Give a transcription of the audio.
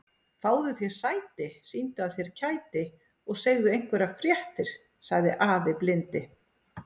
Fáðu þér sæti, sýndu af þér kæti og segðu einhverjar fréttir sagði afi blindi.